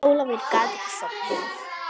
Ólafur gat ekki sofnað.